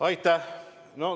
Aitäh!